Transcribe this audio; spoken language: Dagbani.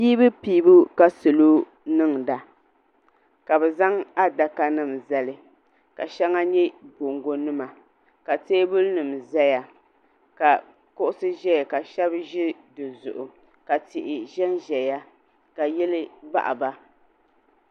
Piibupiibu ka salɔ niŋ da. kabɛ zaŋ adaka nim zali. ka shaŋa nyɛ bongo nima kateebulinim zaya ka kuɣisi ʒaya ka shebi ʒi dizuɣu. ka tihi ʒanʒaya kayii baɣiba